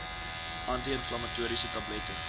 anti inflammatoriese tablette